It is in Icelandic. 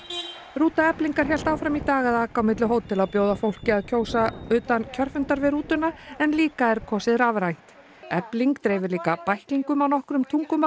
rúta Eflingar hélt áfram í dag að aka á milli hótela og bjóða fólki að kjósa utan kjörfundar við rútuna en líka er kosið rafrænt efling dreifir líka bæklingum á nokkrum tungumálum